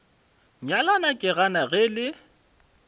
nyalana ke gana ge le